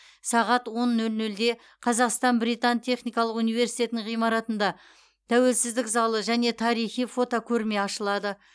сағат он нөл нөлде қазақстан британ техникалық университетінің ғимаратында тәуелсіздік залы және тарихи фотокөрме ашылады